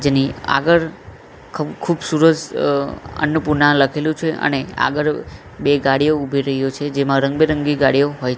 જેની આગળ ખ ખૂબસુરત અન્નપૂર્ણા લખેલુ છે અને આગળ બે ગાડીઓ ઉભી રહ્યો છે જેમાં રંગ બેરંગી ગાડીઓ હોઈ--